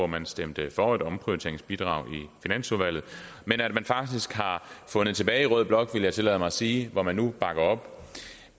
man stemte for et omprioriteringsbidrag i finansudvalget til at man faktisk har fundet tilbage i rød blok vil jeg tillade mig sige hvor man nu bakker op